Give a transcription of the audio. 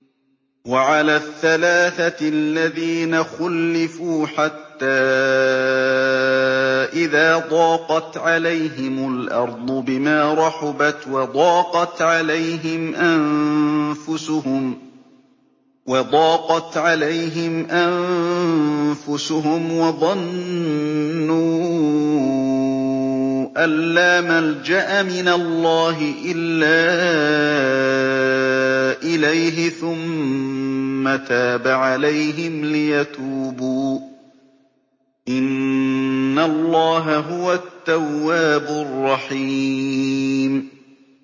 وَعَلَى الثَّلَاثَةِ الَّذِينَ خُلِّفُوا حَتَّىٰ إِذَا ضَاقَتْ عَلَيْهِمُ الْأَرْضُ بِمَا رَحُبَتْ وَضَاقَتْ عَلَيْهِمْ أَنفُسُهُمْ وَظَنُّوا أَن لَّا مَلْجَأَ مِنَ اللَّهِ إِلَّا إِلَيْهِ ثُمَّ تَابَ عَلَيْهِمْ لِيَتُوبُوا ۚ إِنَّ اللَّهَ هُوَ التَّوَّابُ الرَّحِيمُ